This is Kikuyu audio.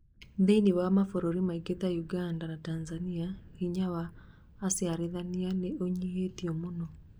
thĩinĩ wa mabũrũri mangĩ ta Uganda na Tanzania, hinya wa acirithania nĩ unyihĩtio mũno.